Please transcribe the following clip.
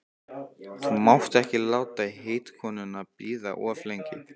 Þú mátt ekki láta heitkonuna bíða of lengi.